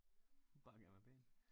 Bare gerne være pæn